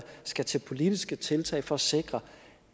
skal tage politiske tiltag for at sikre